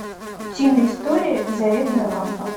утиные истории заветная лампа